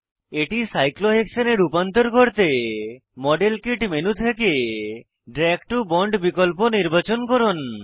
এটি সাইক্লোহেক্সেনে রূপান্তর করতে মডেল কিট মেনু থেকে দ্রাগ টো বন্ড বিকল্প নির্বাচন করুন